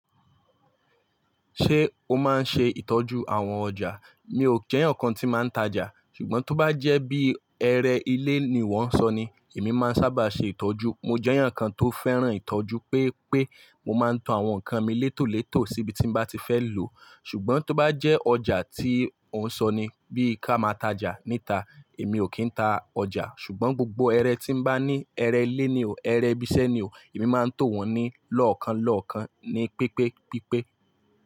Ṣé o máa ń ṣe ìtọ́jú àwọn ọjà? Mi ò jẹ́ eeyan kan tí màá ń tajà, ṣùgbọ́n tó bá jẹ́ bí ẹre ilé ni iwọ́ n sọ ni, èmi máa ń sábà ṣe ìtọ́jú. Mo jẹ́ eeyan kan tó fẹ́ràn ìtọ́jú pé pé mo máa ń to àwọn ǹkan mi létò létò síbi tí n bá ti fẹ́ lòo. Ṣùgbọ́n tó bá jẹ́ ọjà tí ò ń sọni bí i ká máa tajà níta, èmi ò kí ń ta ọjà. Ṣùgbọ́n gbogbo ẹre tí n bá ní, ẹre ilé ni o, ẹre ibi iṣẹ́ ni o, èmi máa ń tò wọ́n ní lọ́ọ̀kan lọ́ọ̀kan ní pípé pípé.